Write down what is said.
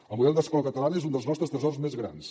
el model d’escola catalana és un dels nostres tresors més grans